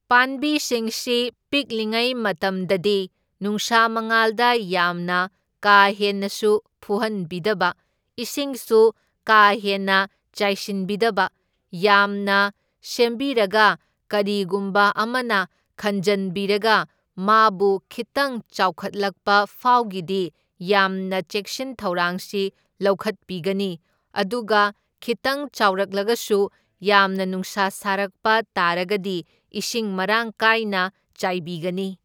ꯄꯥꯟꯕꯤꯁꯤꯡꯁꯤ ꯄꯤꯛꯂꯤꯉꯩ ꯃꯇꯝꯗꯗꯤ ꯅꯨꯡꯁꯥ ꯃꯉꯥꯜꯗ ꯌꯥꯝꯅ ꯀꯥ ꯍꯦꯟꯅꯁꯨ ꯐꯨꯍꯟꯕꯤꯗꯕ, ꯏꯁꯤꯡꯁꯨ ꯀꯥ ꯍꯦꯟꯅ ꯆꯥꯏꯁꯤꯟꯕꯤꯗꯕ, ꯌꯥꯝꯅ ꯁꯦꯝꯕꯤꯔꯒ ꯀꯔꯤꯒꯨꯝꯕ ꯑꯃꯅ ꯈꯟꯖꯟꯕꯤꯔꯒ ꯃꯥꯕꯨ ꯈꯤꯠꯇꯪ ꯆꯥꯎꯈꯠꯂꯛꯄ ꯐꯥꯎꯒꯤꯗꯤ ꯌꯥꯝꯅ ꯆꯦꯛꯁꯤꯟ ꯊꯧꯔꯥꯡꯁꯤ ꯂꯧꯈꯠꯄꯤꯒꯅꯤ, ꯑꯗꯨꯒ ꯈꯤꯠꯇꯪ ꯆꯥꯎꯔꯛꯂꯒꯁꯨ ꯌꯥꯝꯅ ꯅꯨꯡꯁꯥ ꯁꯥꯔꯛꯄ ꯇꯥꯔꯒꯗꯤ ꯏꯁꯤꯡ ꯃꯔꯥꯡ ꯀꯥꯏꯅ ꯆꯥꯏꯕꯤꯒꯅꯤ꯫